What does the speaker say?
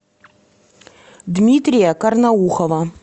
дмитрия карнаухова